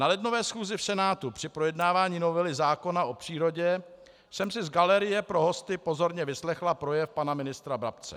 Na lednové schůzi v Senátu při projednávání novely zákona o přírodě jsem si z galerie pro hosty pozorně vyslechla projev pana ministra Brabce.